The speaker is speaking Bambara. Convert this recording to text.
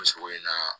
sɔrɔ in na